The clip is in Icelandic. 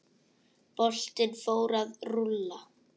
Boltinn fór að rúlla.